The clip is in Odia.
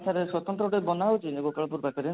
sir ସ୍ଵତନ୍ତ୍ର ଗୋଟେ ବନା ହଉଛି airport ପାଖରେ